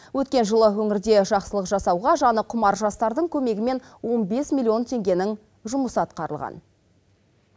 өткен жылы өңірде жақсылық жасауға жаны құмар жастардың көмегімен он бес миллион теңгенің жұмысы атқарылған